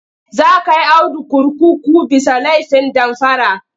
Za kai Audu kurkuku bisa laifin damfara..